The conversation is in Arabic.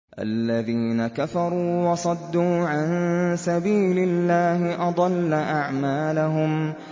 الَّذِينَ كَفَرُوا وَصَدُّوا عَن سَبِيلِ اللَّهِ أَضَلَّ أَعْمَالَهُمْ